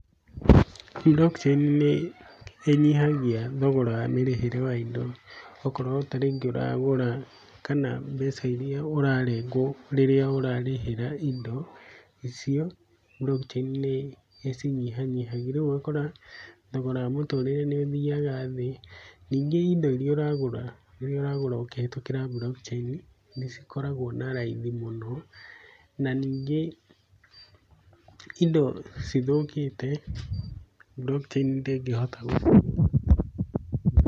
Blockchain nĩ ĩnyihagia thogora wa mĩrĩhĩre wa indo, okorwo ta rĩngĩ ũragũra, kana mbeca iria ũrarengwo hĩndĩ rĩrĩa ũrarĩhĩra indo icio, Blockchain nĩĩcinyihanyihagi. Rĩu ũgakora thogora wa mũtũrĩre nĩ ũthiaga thĩ. Ningĩ indo iria ũragũra, iria ũragũra ũkĩhetũkĩra Blockchain, nĩ cikoragwo na raithi mũno, na ningĩ indo cithũkĩte, Blockchain ndĩngĩhota gũ Pause